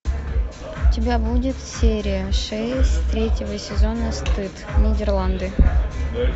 у тебя будет серия шесть третьего сезона стыд нидерланды